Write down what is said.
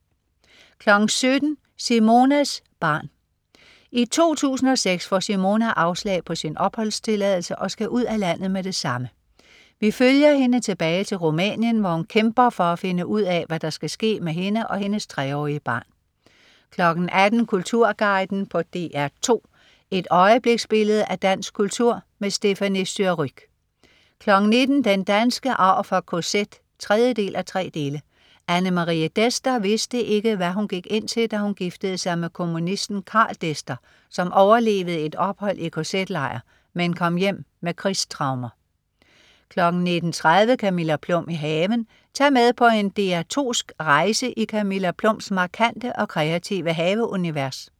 17.00 Simonas Barn. I 2006 får Simona afslag på sin opholdstilladelse og skal ud af landet med det samme. Vi følger hende tilbage til Rumænien, hvor hun kæmper for at finde ud af, hvad der skal ske med hende og hendes 3-årige barn 18.00 Kulturguiden på DR2. Et øjebliksbillede af dansk kultur. Stéphanie Surrugue 19.00 Den danske arv fra KZ 3:3. Anne Marie Dester vidste ikke, hvad hun gik ind til, da hun giftede sig med kommunisten Karl Dester, som overlevede et ophold i KZ-lejr, men kom hjem med krigstraumer 19.30 Camilla Plum i haven. Tag med på en DR2sk rejse i Camilla Plums markante og kreative haveunivers